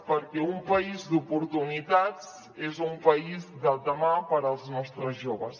perquè un país d’oportunitats és un país del demà per als nostres joves